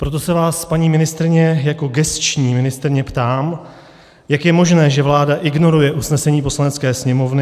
Proto se vás, paní ministryně jako gesční ministryně ptám, jak je možné, že vláda ignoruje usnesení Poslanecké sněmovny.